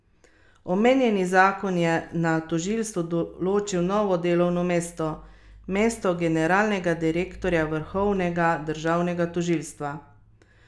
Omenjeni zakon je na tožilstvu določil novo delovno mesto, mesto generalnega direktorja vrhovnega državnega tožilstva.